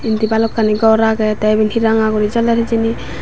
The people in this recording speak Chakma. endi balokani gor aget tey evan he ranga gori joler hejani.